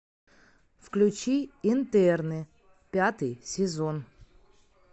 включи интерны пятый сезон